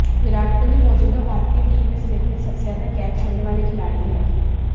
विराट कोहली मौजूदा भारतीय टीम में स्लिप में सबसे ज्यादा कैच छोड़ने वाले खिलाड़ी हैं